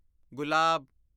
ਗੁਲਾਬ